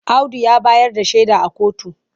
Audu ya bayar da shaida a kotu.